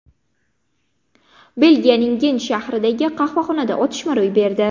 Belgiyaning Gent shahridagi qahvaxonada otishma ro‘y berdi.